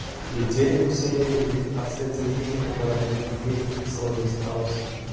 летели гуси-лебеди а в след воробьи пингвины и соловьи страусы